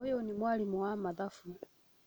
Ũyũnĩ mwarimũwa mathabu